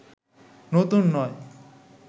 নতুন নয়